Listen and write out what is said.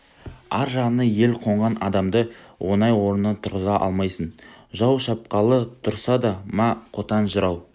ар жағына ел қонған адамды оңай орнынан тұрғыза алмайсың жау шапқалы тұрса да ма қотан жырау